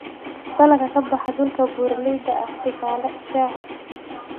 Dalagga ka baxa dhulka buuraleyda ah: tusaale, shaaha.